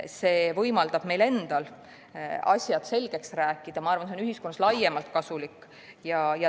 See võimaldab meil endal asjad selgeks rääkida ja ma arvan, et see on ühiskonnale laiemalt kasulik.